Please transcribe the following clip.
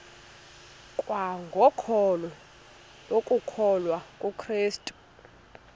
kwangokholo lokukholwa kukrestu